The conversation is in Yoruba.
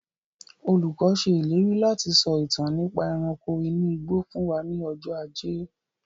Olùkọ́ se ìlérí láti sọ ìtàn nípa ẹranko inú igbó fún wa ní ọjọ́ ajé